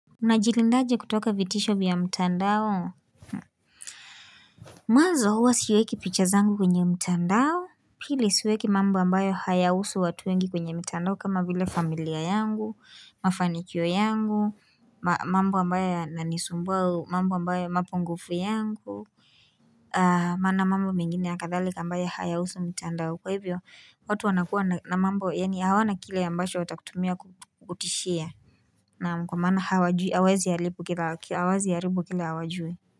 Unajilindaje kutoka vitisho vya mtandao Mwanzo huwa siweki picha zangu kwenye mtandao Pili siweki mambo ambayo hayahusu watu wengi kwenye mtandao kama vile familia yangu, mafanikio yangu mambo ambayo yananisumbua au mamba ambayo mapungufu yangu Maana mambo mengine ya kadhali ambayo hayahusu mtandao Kwa hivyo, watu wanakua na mambo yani hawana kile ambacho watakutumia kutishia Naam kumaana hawajui hawawezi haribu kila hawawezi haribu kile hawajui.